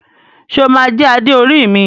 Ṣe o ma jẹ Adé orí mi?